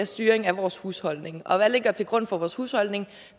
styring af vores husholdning og hvad ligger til grund for vores husholdning